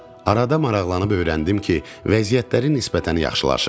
Arada maraqlanıb öyrəndim ki, vəziyyətləri nisbətən yaxşılaşıb.